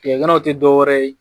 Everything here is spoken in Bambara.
Tigɛ ɲaga tɛ dɔwɛrɛ ye